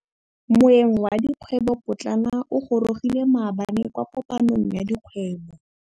Moêng wa dikgwêbô pôtlana o gorogile maabane kwa kopanong ya dikgwêbô.